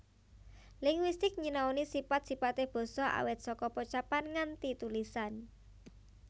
Linguistik nyinaoni sipat sipate basa awit saka pocapan nganti tulisan